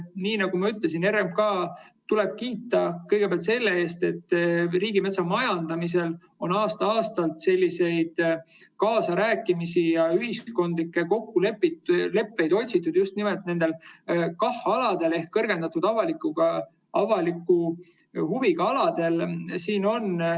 Nii nagu ma ütlesin, RMK‑d tuleb kiita kõigepealt selle eest, et riigimetsa majandamisel on aasta-aastalt kaasarääkimisi ja ühiskondlikke kokkuleppeid otsitud just nimelt nendel KAH‑aladel ehk kõrgendatud avaliku huviga aladel.